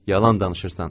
Yalan danışırsan.